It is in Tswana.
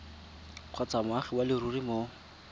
kgotsa moagi wa leruri mo